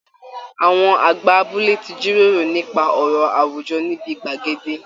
Àwọn àgbà abúlé ti jíròrò nípa ọ̀rọ̀ àwùjọ níbi gbàgede